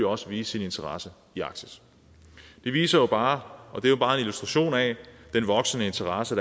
også vise sin interesse i arktis det viser jo bare det er bare en illustration af den voksende interesse